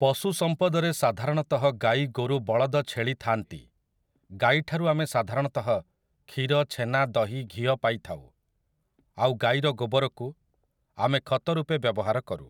ପଶୁ ସମ୍ପଦରେ ସାଧାରଣତଃ ଗାଈ ଗୋରୁ ବଳଦ ଛେଳି ଥାଆନ୍ତି, ଗାଈଠାରୁ ଆମେ ସାଧାରଣତଃ କ୍ଷୀର ଛେନା ଦହି ଘିଅ ପାଇଥାଉ, ଆଉ ଗାଈର ଗୋବରକୁ ଆମେ ଖତ ରୂପେ ବ୍ୟବହାର କରୁ ।